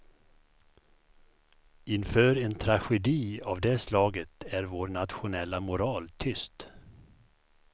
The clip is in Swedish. Inför en tragedi av det slaget är vår nationella moral tyst.